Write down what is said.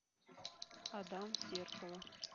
адам зеркало